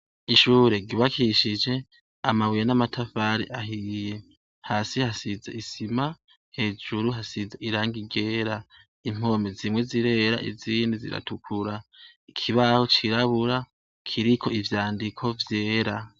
Ishure gibakishije amabuye n'amatavare ahiye hasi hasize isima hejuru hasize iranga igera impomi zimwe zirera izindi ziratukura ikibaho cirabura kiriko ivyandiko vyera.